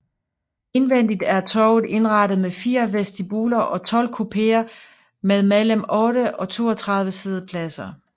Indvendigt er toget indrettet med fire vestibuler og 12 kupéer med mellem 8 og 32 siddepladser